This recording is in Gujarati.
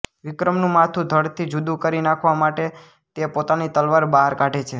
વિક્રમનું માથું ધડથી જુદું કરી નાખવા માટે તે પોતાની તલવાર બહાર કાઢે છે